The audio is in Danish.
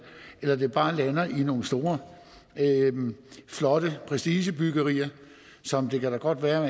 eller om det bare lander i nogle store flotte prestigebyggerier det kan da godt være